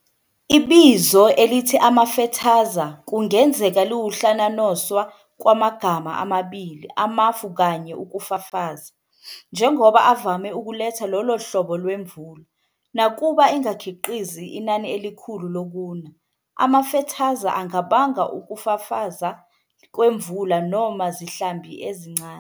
Ibizo elithi "amafethaza" kungenzeka liwukuhlanhanoswa kwamgama amabili, "amafu" plus "ukufafaza", njengoba avame ukuletha lolohlobo lwemvula. Nakuba engakhiqizi inani elikhulu lokuna, amafethaza angabanga ukufafaza kwemvula noma zihlambi ezincane.